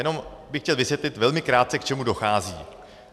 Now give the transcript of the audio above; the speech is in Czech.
Jenom bych chtěl vysvětlit velmi krátce, k čemu dochází.